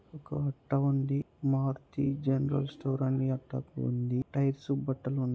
ఒక అట్ట ఉంది మారుతి జనరల్ స్టోర్ అనే అట్ట ఉంది టైర్ స్ బట్టలు ఉంది.